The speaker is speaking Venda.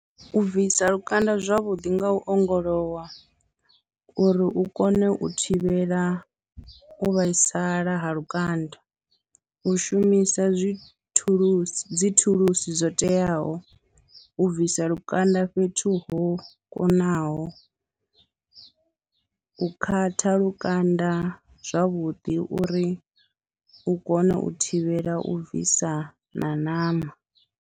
U bvisa lukanda zwavhuḓi nga u ongolowa uri u kone u thivhela u vhaisala ha lukanda, u shumisa dzi thulusi dzi thulusi dzo teaho, u bvisa lukanda fhethu ho kunaho, u khatha lukanda zwavhuḓi uri u kone u thivhela u bvisa na ṋama.